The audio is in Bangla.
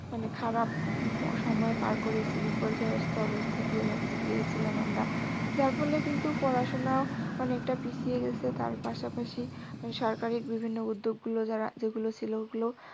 মানে খারাপ সময় পার করে এসেছি। বিপর্যস্ত অবস্থা দিয়ে গিয়েছিলাম আমরা। যার ফলে কিন্তু পড়াশুনাও অনেকটা পিছিয়ে গেছে। তার পাশাপাশি মানে সরকারি বিভিন্ন উদ্যোগগুলো যারা যেগুলো ছিল ওগুলো